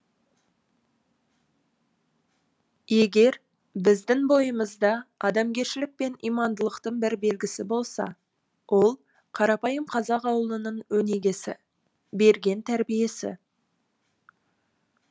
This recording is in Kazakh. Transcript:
егер біздің бойымызда адамгершілік пен имандылықтың бір белгісі болса ол қарапайым қазақ ауылының өнегесі берген тәрбиесі